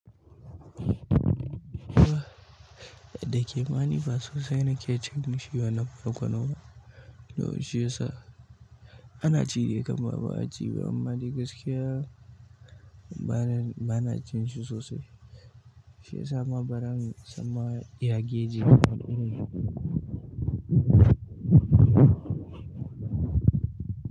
Da ke ma ni ba sosai na ke cin shi ya. To shi yasa ana ci dai kam ba ba'a ci ba, amma dai gaskiya bana, bana cin shi sosai. Shi yasa ma baran samma ya geji. Iri.